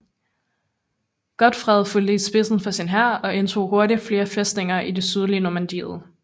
Godfred fulgte i spidsen for sin hær og indtog hurtigt flere fæstninger i det sydlige Normandiet